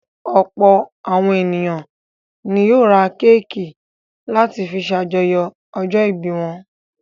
Ọ̀pọ̀ àwọn ènìyàn ni yóò ra kéékì láti fi ṣàjọyọ̀ ọjọ́-ìbí wọn.